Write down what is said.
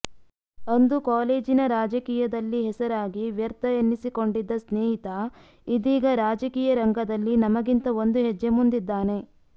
ಅಂದು ಕಾಲೇಜಿನ ರಾಜಕೀಯದಲ್ಲಿ ಹೆಸರಾಗಿ ವ್ಯರ್ಥ ಎನ್ನಿಸಿಕೊಂಡಿದ್ದ ಸ್ನೇಹಿತ ಇದೀಗ ರಾಜಕೀಯ ರಂಗದಲ್ಲಿ ನಮಗಿಂತ ಒಂದು ಹೆಜ್ಜೆ ಮುಂದಿದ್ದಾನೆ